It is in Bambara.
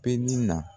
Peli na